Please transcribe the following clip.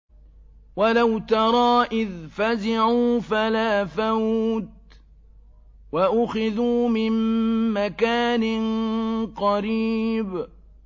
وَلَوْ تَرَىٰ إِذْ فَزِعُوا فَلَا فَوْتَ وَأُخِذُوا مِن مَّكَانٍ قَرِيبٍ